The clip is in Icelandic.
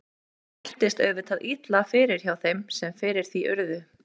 Það mæltist auðvitað illa fyrir hjá þeim sem fyrir því urðu.